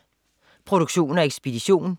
Produktion og ekspedition: